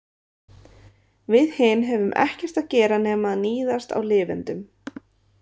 Við hin höfum ekkert að gera nema að níðast á lifendum.